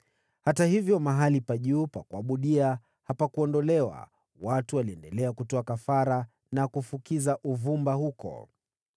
Hata hivyo mahali pa juu pa kuabudia hapakuondolewa. Watu waliendelea kutoa kafara na kufukiza uvumba huko.